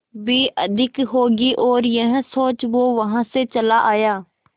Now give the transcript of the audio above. भी अधिक होगी और यह सोच वो वहां से चला आया